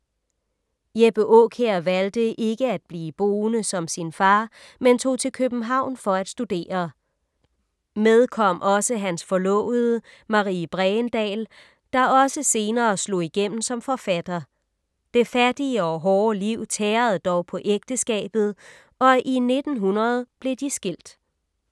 Jeppe Aakjær valgte ikke at blive bonde som sin far, men tog til København for at studere. Med kom også hans forlovede, Marie Bregendahl, der også senere slog igennem som forfatter. Det fattige og hårde liv tærede dog på ægteskabet og i 1900 blev de skilt.